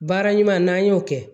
Baara ɲuman n'an y'o kɛ